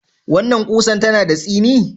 Wannan ƙusar tana da tsini?